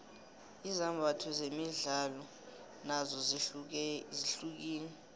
izimbatho zemidlalo nozo zihlukile